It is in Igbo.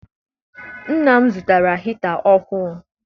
Nna m zụtara hita ọhụụ.